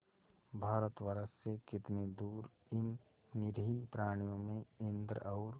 भारतवर्ष से कितनी दूर इन निरीह प्राणियों में इंद्र और